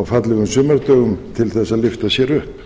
á fallegum sumardögum til að lyfta sér upp